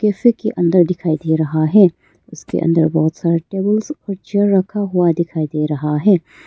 Cafe के अंदर दिखाई दे रहा रखा हैं उसके अंदर बहुत सारा टेबल्स और चेअर रखा हुआ दिखाई दे रहा है।